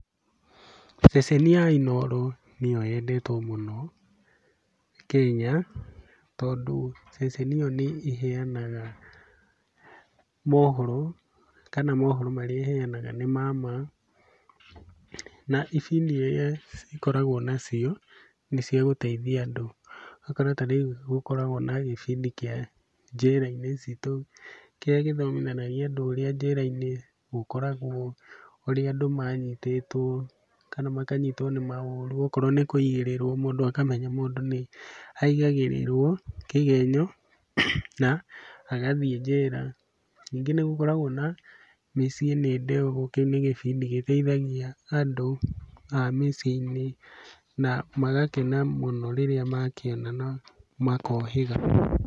Ceceni ya Inooro nĩyo yendetwo mũno Kenya, tondũ ceceni ĩyo nĩĩhenaga mohoro kana mohoro marĩa ĩheanaga nĩ ma ma, na ibidi iria cikoragwo nacio nĩciagũteithia andũ. Ũgakora ta rĩu gũkoragwo na gĩbidi kĩa Njera-inĩ Citũ, kĩrĩa gĩthomithanagia andũ ũrĩa njera-inĩ gũkoragwo ũrĩa andũ manyitĩtwo kana makanyitwo nĩ maũru okorwo nĩ kũigĩrĩrwo mũndũ akamenya mũndũ nĩaigagĩrĩrwo kĩgenyo na agathiĩ njera. Ningĩ nĩgũkoragwo na Mĩciĩ nĩ Ndogo, kĩu nĩ gĩbindi gĩteithagia andũ a mĩciĩ-inĩ na magakena mũno rĩrĩa makĩona na makohĩga.